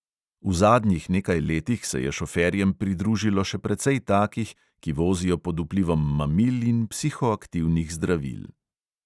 V zadnjih nekaj letih se je šoferjem pridružilo še precej takih, ki vozijo pod vplivom mamil in psihoaktivnih zdravil.